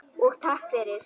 Og takk fyrir.